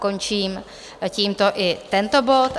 Končím tímto i tento bod.